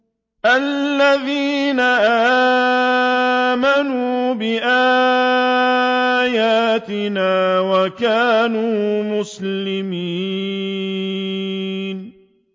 الَّذِينَ آمَنُوا بِآيَاتِنَا وَكَانُوا مُسْلِمِينَ